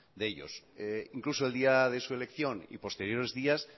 de ellos incluso el día de su elección y posteriores días